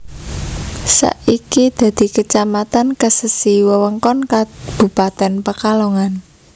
Saiki dadi Kecamatan Kesesi wewengkon Kabupatèn Pekalongan